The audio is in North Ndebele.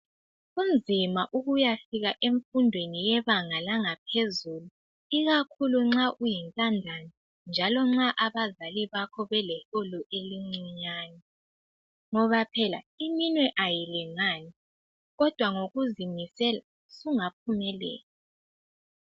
Kunzima ukuyafika emfundweni yebanga langaphezulu, ikakhulu nxa uyintandane njalo nxa abazali bakho beleholo elincinyane, ngoba phela iminwe ayilingani, kodwa ngokuzimisela sungaphumelela.